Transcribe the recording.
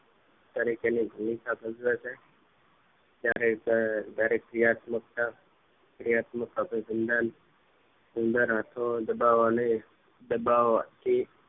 તરીકે ની ભૂમિકા ભજવે છે જયારે પણ ક્રિયાત્મ્કતા ક્રિયાત્મક અભીસંધાન આંખો દબાવાનો દબાવા થી